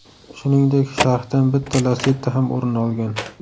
Shuningdek, sharhdan bitta Lacetti ham o‘rin olgan.